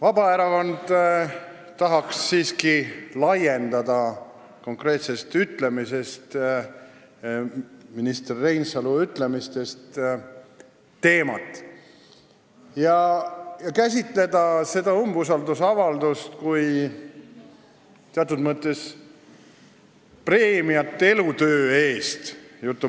Vabaerakond tahaks siiski minister Reinsalu konkreetsest ütlemisest välja kasvanud teemat laiendada ja käsitleda seda umbusaldusavaldust kui teatud mõttes preemiat elutöö eest.